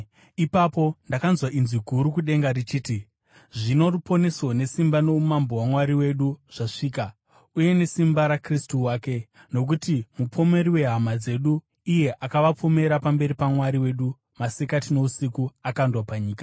Ipapo ndakanzwa inzwi guru kudenga richiti: “Zvino ruponeso nesimba noumambo hwaMwari wedu zvasvika, uye nesimba raKristu wake. Nokuti mupomeri wehama dzedu, iye anovapomera pamberi paMwari wedu masikati nousiku, akandwa panyika.